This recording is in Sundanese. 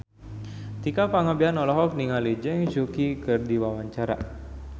Tika Pangabean olohok ningali Zhang Yuqi keur diwawancara